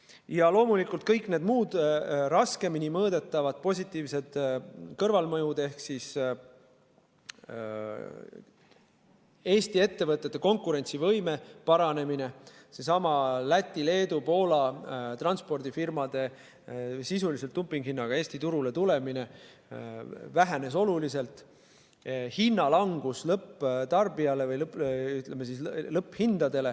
Ja loomulikult kõik need muud raskemini mõõdetavad, positiivsed kõrvalmõjud ehk siis Eesti ettevõtete konkurentsivõime paranemine – seesama Läti-Leedu-Poola transpordifirmade sisuliselt dumpinguhinnaga Eesti turule tulemine vähenes oluliselt – ja hinnalangus lõpptarbijale.